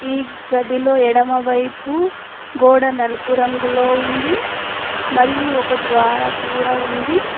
ఈ గదిలో ఎడమవైపు గోడ నలుపు రంగులో ఉంది మరియు ఒక ద్వార కూడా ఉంది.